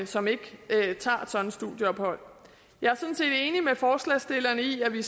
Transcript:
som ikke tager et sådant studieophold jeg er sådan set enig med forslagsstillerne i at vi